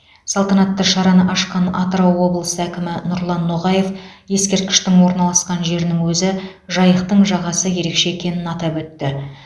салтанатты шараны ашқан атырау облысы әкімі нұрлан ноғаев ескерткіштің орналасқан жерінің өзі жайықтың жағасы ерекше екенін атап өтті